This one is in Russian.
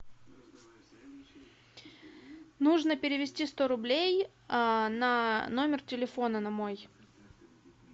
нужно перевести сто рублей на номер телефона на мой